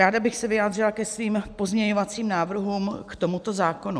Ráda bych se vyjádřila ke svým pozměňovacím návrhům k tomuto zákonu.